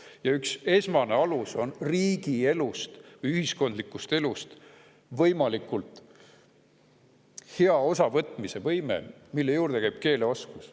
Selle üks esmane alus on riigielust, ühiskondlikust elust võimalikult hea osavõtmise võime, mille juurde käib keeleoskus.